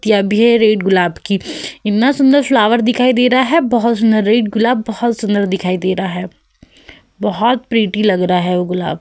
है रेड गुलाब की। इन्ना सुंदर फ्लॉवर दिखाई दे रहा है। बोहोत सुंदर रेड गुलाब बोहोत सुंदर दिखाई दे रहा है। बोहोत प्रेटी लग रहा है वो गुलाब।